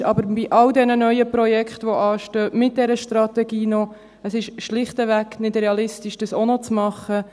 Doch bei all diesen neuen Projekten, die anstehen – mit dieser Strategie auch noch –, ist es schlichtweg nicht realistisch, das auch noch zu machen.